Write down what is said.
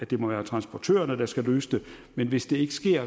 være transportørerne der skal løse det men hvis det ikke sker